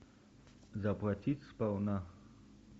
заплатить сполна